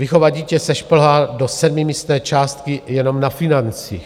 Vychovat dítě se šplhá do sedmimístné částky jenom na financích.